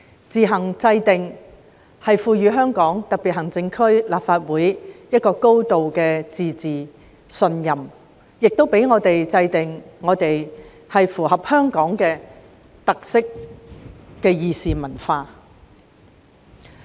"自行制定"的提述，代表賦予香港特別行政區立法會"高度自治"的信任，讓我們制訂符合香港特色的議事文化。